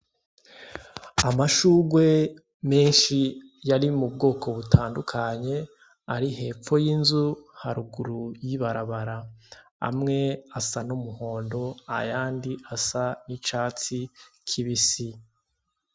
Amashurwe menshi yari mu bwoko butandukanye ari hepfo y'inzu haruguru y'ibarabara. Amwe asa n'umuhondo, ayandi asa n'icatsi kibisi.